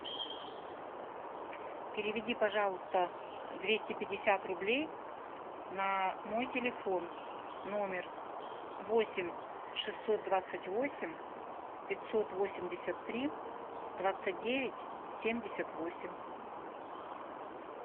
переведи пожалуйста двести пятьдесят рублей на мой телефон номер восемь шестьсот двадцать восемь пятьсот восемьдесят три двадцать девять семьдесят восемь